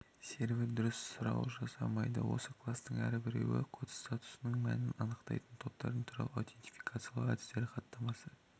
сервер дұрыс сұрау жасамайды осы кластың әрбіреуі код статусының мәнін анықтайтын топтардан тұрады аутентификациялау әдістері хаттамасы